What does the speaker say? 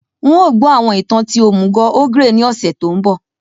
N o gbọ àwọn ìtàn ti òmùgò ogre ni ọ̀ṣẹ̀ to nbọ